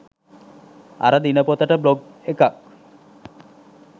අර දිනපොතට බ්ලොග් එකක්.